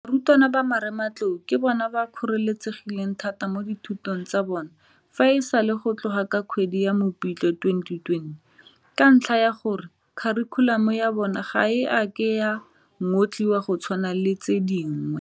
Barutwana ba Marematlou ke bona ba kgoreletsegileng thata mo dithutong tsa bona fa e sale go tloga ka kgwedi ya Mopitlwe 2020 ka ntlha ya gore kharikhulamo ya bona ga e a ke ya ngotliwa go tshwana le tse dingwe.